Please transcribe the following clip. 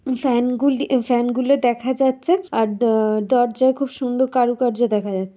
fan -গুলি এ fan -গুলো দেখা যাচ্ছে আর আ-আ- দ দরজায় খুব সুন্দর কারুকার্য দেখা যা--